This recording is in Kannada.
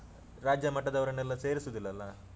ಹ. ರಾಜ್ಯಮಟದವರ್ನೆಲ್ಲಾ ಸೇರಿಸುದಿಲ್ಲಲ್ಲ?